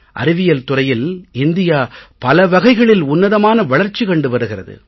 அறிவியல் துறையில் இந்தியா பல வகைகளில் உன்னதமான வளர்ச்சி கண்டு வருகிறது